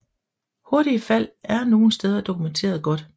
Hurtige fald er nogle steder dokumenteret godt